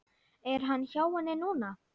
Er hann hjá henni núna?